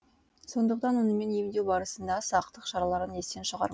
сондықтан онымен емдеу барысында сақтық шараларын естен шығармау